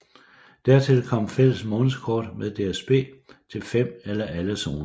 Dertil kom fælles månedskort med DSB til fem eller alle zoner